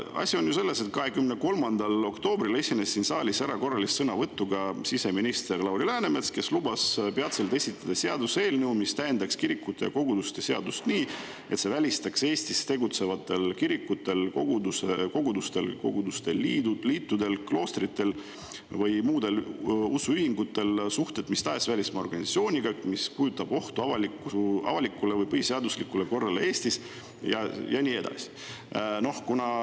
Asi on ju selles, et 23. oktoobril esines siin saalis erakorralise sõnavõtuga siseminister Lauri Läänemets, kes lubas peatselt esitada seaduseelnõu, mis täiendaks kirikute ja koguduste seadust nii, et see välistaks Eestis tegutsevate kirikute, koguduste, koguduste liitude, kloostrite või muude usuühingute suhted mis tahes välismaa organisatsiooniga, mis kujutab ohtu avalikule või põhiseaduslikule korrale Eestis, ja nii edasi.